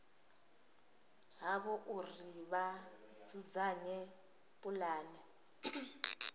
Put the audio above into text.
havho uri vha dzudzanye pulane